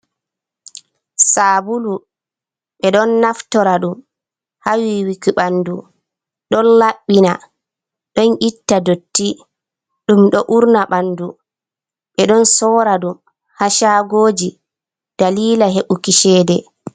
Sabulu ɓe ɗon naftora ɗum ha yiwiki ɓandu ɗon labbina ɗon itta dotti ɗum do urna ɓandu ɓe ɗon sora ɗum ha shagoji dalila heɓuki seɗe